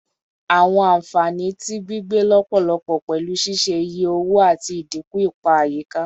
Awọn anfani ti gbigbe lọpọlọpọ pẹlu ṣiṣe iye owo ati idinku ipa ayika